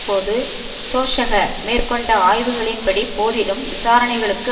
போது சோசக மேற்கொண்ட ஆய்வுகளின்படி போதிலும் விசாரணைகளுக்கு